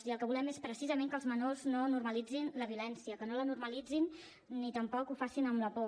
i el que volem és precisament que els menors no normalitzin la violència que no la normalitzin ni tampoc ho facin amb la por